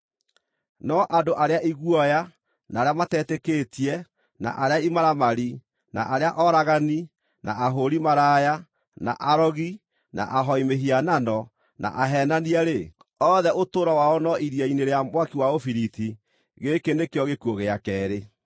No andũ arĩa iguoya, na arĩa matetĩkĩtie, na arĩa imaramari, na arĩa oragani, na ahũũri maraya, na arogi, na ahooi mĩhianano, na aheenania-rĩ, othe ũtũũro wao no iria-inĩ rĩa mwaki wa ũbiriti. Gĩkĩ nĩkĩo gĩkuũ gĩa keerĩ.”